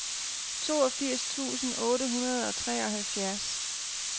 toogfirs tusind otte hundrede og treoghalvfjerds